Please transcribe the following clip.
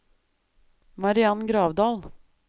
Mariann Gravdal